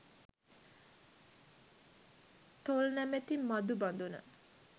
තොල් නමැති මධු බඳුන